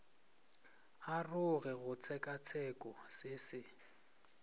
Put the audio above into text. aroge go tshekatsheko se se